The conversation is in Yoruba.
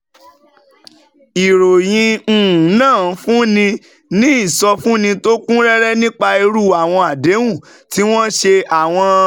Ìròyìn um náà fúnni ní ìsọfúnni tó kún rẹ́rẹ́ nípa irú àwọn àdéhùn tí wọ́n ṣe, àwọn